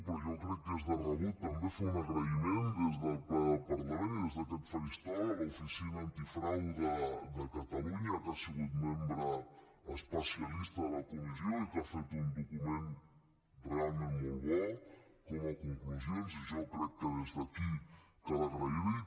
però jo crec que és de rebut també fer un agraïment des del ple del parlament i des d’aquest faristol a l’oficina antifrau de catalunya que ha sigut membre especialista de la comissió i que ha fet un document realment molt bo com a conclusions i jo crec que des d’aquí cal agrair l’hi